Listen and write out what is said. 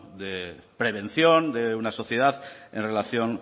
de prevención de una sociedad en relación